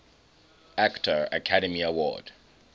actor academy award